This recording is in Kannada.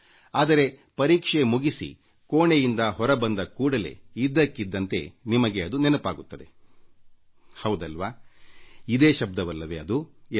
ಆದರೆ ಪರೀಕ್ಷೆ ಮುಗಿಸಿ ಕೋಣೆಯಿಂದ ಹೊರ ಬಂದ ಕೂಡಲೇ ಇದ್ದಕ್ಕಿದ್ದಂತೆ ನಿಮಗೆ ಅದು ನೆನಪಾಗುತ್ತದೆ ಹೌದಲ್ವಾ ಇದೇ ಶಬ್ದವಲ್ಲವೇ ಎಂದು